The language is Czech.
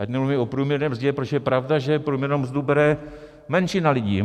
Ať nemluvím o průměrné mzdě, protože je pravda, že průměrnou mzdu bere menšina lidí.